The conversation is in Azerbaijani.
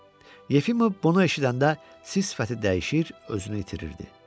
Yefimov bunu eşidəndə sifəti dəyişir, özünü itirirdi.